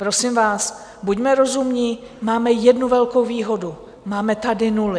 Prosím vás, buďme rozumní, máme jednu velkou výhodu, máme tady nuly.